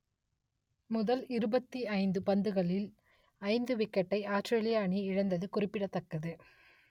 முதல் இருபத்தி ஐந்து பந்துகளில் ஐந்து விக்கெட்டை ஆஸ்திரேலிய அணி இழந்தது குறிப்பிடத்தக்கது